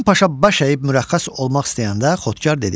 Həsən Paşa baş əyib mürəxxəs olmaq istəyəndə, Xodkar dedi: